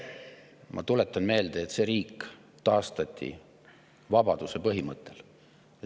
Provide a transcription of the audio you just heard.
Ma tuletan meelde, et see riik taastati vabaduse põhimõttel.